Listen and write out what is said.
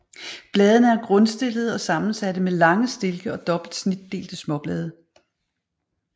Bladene er grundstillede og sammensatte med lange stilke og dobbelt snitdelte småblade